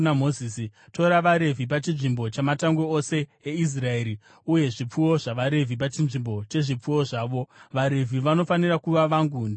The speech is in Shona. “Tora vaRevhi pachinzvimbo chamatangwe ose eIsraeri, uye zvipfuwo zvavaRevhi pachinzvimbo chezvipfuwo zvavo. VaRevhi vanofanira kuva vangu. Ndini Jehovha.